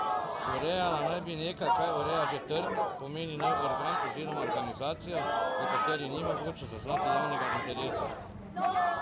Urejala naj bi nekaj, kar ureja že trg, pomeni nov organ oziroma organizacijo, v kateri ni mogoče zaznati javnega interesa.